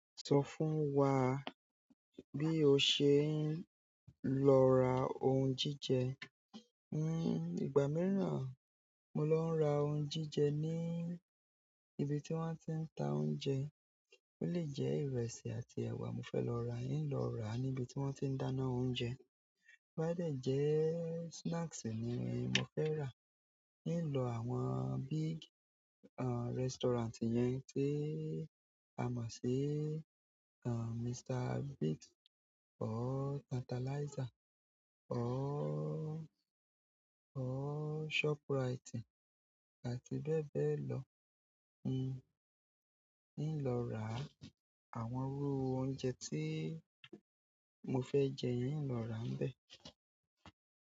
Sọ fún wa bí o ṣe ń lọ ra ohun jíjẹ. Ìgbà míràn mo lọ n ra ohun jíjẹ ní ibi tí wón ti ń ta oúnjẹ. Ó lè jẹ ìrẹsì àti ẹwà mo fẹ lọ rà yíì lọ rà níbi tí wón ti ń dáná oúnjẹ. To ba de jẹ́ snacks ni mo fẹ rà. N lọ àwọn big, restaurant yẹn tí a mọ̀ sí, Mr Biggs or Tantalizer or Shoprite àti bẹ́ẹ̀ bẹ́ẹ̀ lọ. N lọ ra àwọn irú oúnjẹ tí mo fe jẹ n lọ rà nbé.